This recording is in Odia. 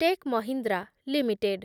take Mahindra limited